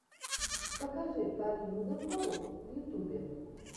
покажи полину дубкову в ютюбе